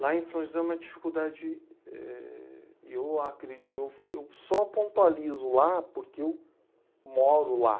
Lá em São José é uma dificuldade... Eu acre, eu f, eu só pontualizo lá porque eu moro lá.